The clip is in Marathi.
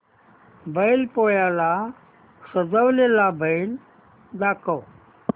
बैल पोळ्याला सजवलेला बैल दाखव